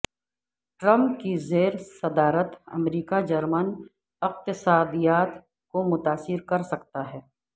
Trump کی زیر صدارت امریکہ جرمن اقتصادیات کو متاثر کر سکتا ہے